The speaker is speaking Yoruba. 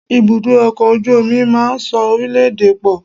Ibùdó ọkọ̀ ojú omi máa ń so orílẹ̀-èdè pọ̀.